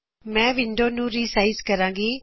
ਮੈ ਵਿੰਡੋ ਨੂੰ ਰੀਸਾਇਜ਼ ਕਰਾਂ ਗੀ